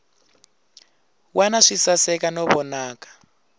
wana swi saseka no vonaka